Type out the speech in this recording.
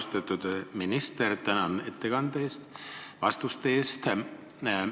Austatud minister, tänan teid vastuste eest!